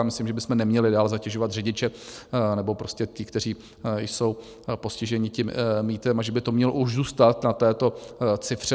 Já myslím, že bychom neměli dál zatěžovat řidiče nebo prostě ty, kteří jsou postižení tím mýtem, a že by to mělo už zůstat na této cifře.